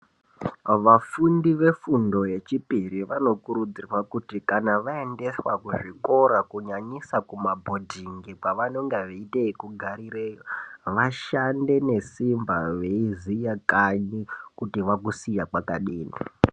Vafundi vefundo yechipiri vanokurudzirwa kuti kana vaendeswa kuzvikora kunyanyisa kuma bhodhingi kwavanonga veite yekugarireyo , vashande nesimba veiziya kanyi kuti vakusiya kwakadini